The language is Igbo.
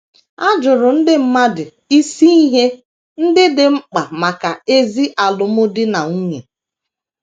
A jụrụ ndị mmadụ isi ihe ndị dị mkpa maka ezi alụmdi na nwunye.